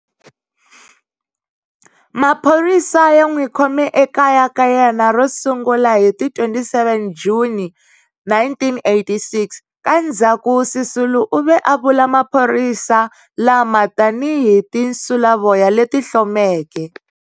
Maphorisa ya n'wi khome ekaya ka yena ro sungula hi ti 27 Juni 1986. Ka ndzhaku Sisulu u ve a vula maphorisa lama tani hi"tinsulavoya leti hlomeke."